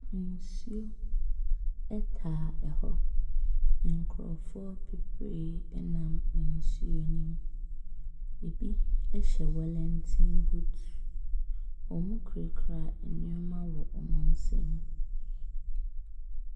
Nsuo taa hɔ. Nkurɔfoɔ bebree nam nsuo no mu. Ɛbi hyɛ wellinton boot. Wɔkurakura nneɛma wɔ wɔn nsam.